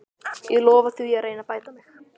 Ég lofa því að reyna að bæta mig.